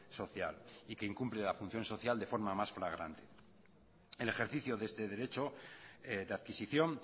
social y que incumple la función social de forma más flagrante el ejercicio de este derecho de adquisición